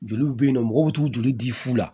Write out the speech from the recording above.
Joli bɛ yen nɔ mɔgɔw bɛ t'u joli di fu la